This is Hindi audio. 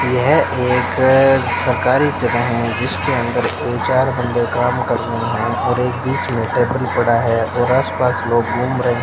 यह एक सरकारी जगह है जिसके अंदर ये चार बन्दे काम कर रहे है और एक बीच मे टेबल पड़ा है और आस पास लोग घूम रहे --